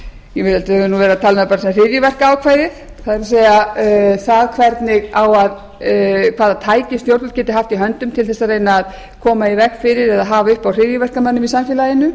sem við köllum hryðjuverkaákvæðið það hvaða tæki stjórnvöld geti haft í höndum til þess að reyna að koma í veg fyrir eða hafa uppi á hryðjuverkamönnum í samfélaginu